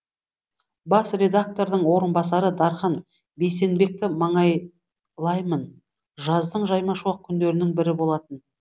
бас редактордың орынбасары дархан бейсенбекті маңайлаймын жаздың жаймашуақ күндерінің бірі болатын